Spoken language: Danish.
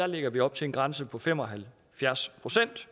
lægger vi op til en grænse på fem og halvfjerds procent